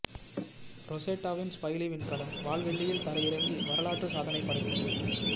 ரொசெட்டாவின் Philae விண்கலம் வால்வெள்ளியில் தரையிறங்கி வரலாற்று சாதனை படைத்தது